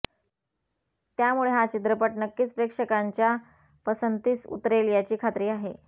त्यामुळे हा चित्रपट नक्कीच प्रेक्षकांच्या पसंतीस उतरेल याची खात्री आहे